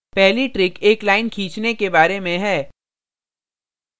पहली trick एक line खींचने के बारे में है